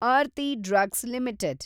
Aarti drugs limited